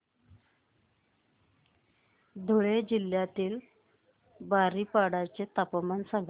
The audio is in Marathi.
धुळे जिल्ह्यातील बारीपाडा चे तापमान सांग